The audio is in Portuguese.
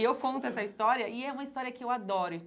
E eu conto essa história e é uma história que eu adoro.